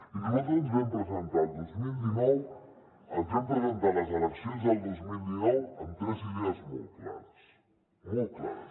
i nosaltres ens vam presentar el dos mil dinou ens vam presentar a les eleccions del dos mil dinou amb tres idees molt clares molt clares